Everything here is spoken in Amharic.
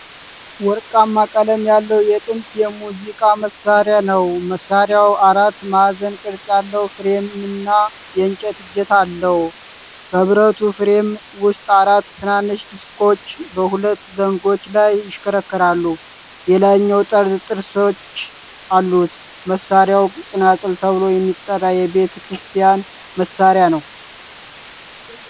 ወርቃማ ቀለም ያለው የጥንት የሙዚቃ መሣሪያ ነው። መሣሪያው አራት ማዕዘን ቅርጽ ያለው ፍሬምና የእንጨት እጀታ አለው። በብረቱ ፍሬም ውስጥ አራት ትናንሽ ዲስኮች በሁለት ዘንጎች ላይ ይሽከረከራሉ። የላይኛው ጠርዝ ጥርሶች አሉት። መሣሪያው ፅናፅል ተብሎ የሚጠራ የቤተ ክርስቲያን መሣሪያ ነው።